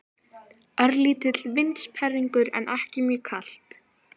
Örlítill vindsperringur en ekki mjög kalt.